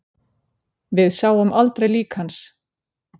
Við sáum aldrei lík hans